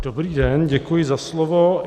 Dobrý den, děkuji za slovo.